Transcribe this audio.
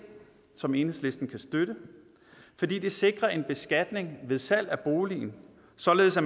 som enhedslisten kan støtte fordi det sikrer en beskatning ved salg af boligen således at